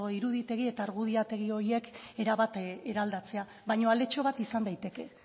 iruditegi eta argudiategi horiek erabat eraldatzea baina aletxo bat izan daiteke